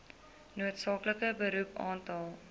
noodsaaklike beroep aantal